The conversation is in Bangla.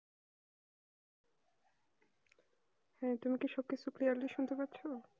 হ্যাঁ তুমি কি সত্যিই clearly শুনতে পারছো না